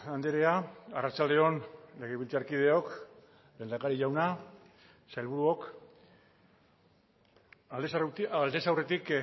andrea arratsalde on legebiltzarkideok lehendakari jauna sailburuok aldez aurretik